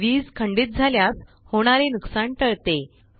वीज खंडित झाल्यास होणारे नुकसान टळते